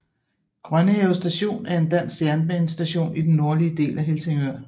Grønnehave Station er en dansk jernbanestation i den nordlige del af Helsingør